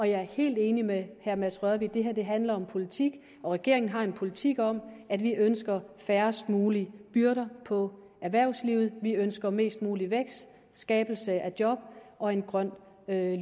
jeg er helt enig med herre mads rørvig i at det her handler om politik og regeringen har en politik om at vi ønsker færrest mulige byrder på erhvervslivet vi ønsker mest mulig vækst skabelse af job og en grøn